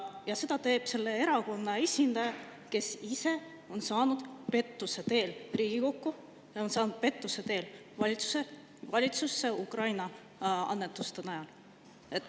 Ja seda teeb selle erakonna esindaja, kes ise on saanud pettuse teel Riigikokku, kes on saanud pettuse teel valitsusse, Ukraina annetuste najal.